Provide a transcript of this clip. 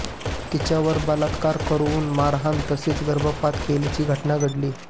तिच्यावर बलात्कार करून मारहाण तसेच गर्भपात केल्याची घटना घडली